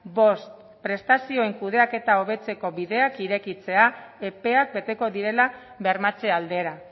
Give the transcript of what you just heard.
bost prestazioen kudeaketa hobetzeko bideak irekitzea epeak beteko direla bermatze aldera